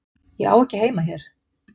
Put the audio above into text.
Ég á ekki heima hér.